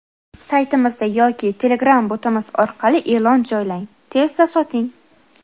Saytimizda yoki Telegram botimiz orqali eʼlon joylang tezda soting.